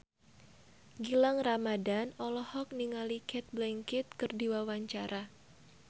Gilang Ramadan olohok ningali Cate Blanchett keur diwawancara